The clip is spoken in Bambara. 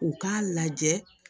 U k'a lajɛ